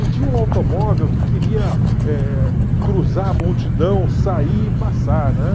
E tinha um automóvel que queria eh cruzar a multidão, sair e passar, né?